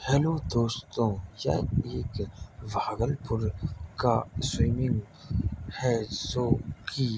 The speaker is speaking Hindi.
हैल्लो दोस्तों यह एक भागलपुर का स्विमिंग है जो की --